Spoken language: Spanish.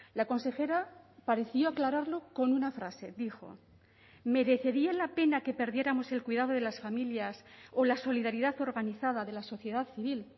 la consejera pareció aclararlo con una frase dijo merecería la pena que perdiéramos el cuidado de las familias o la solidaridad organizada de la sociedad civil